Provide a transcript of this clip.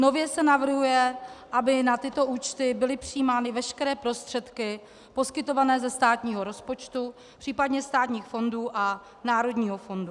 Nově se navrhuje, aby na tyto účty byly přijímány veškeré prostředky poskytované ze státního rozpočtu, příp. státních fondů a národního fondu.